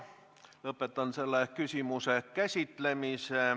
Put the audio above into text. Lõpetan selle küsimuse käsitlemise.